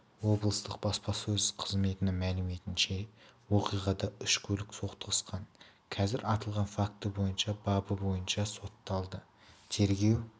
облыстық баспасөз қызметінің мәліметінше оқиғада үш көлік соқтығысқан қазір аталған факті бойынша бабы бойынша соталды тергеу